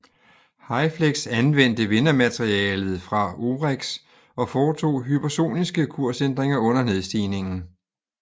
HYFLEX anvendte vindermaterialet fra OREX og foretog hypersoniske kursændringer under nedstigningen